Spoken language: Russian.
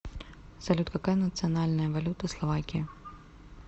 салют какая национальная валюта словакии